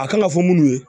A kan ka fɔ munnu ye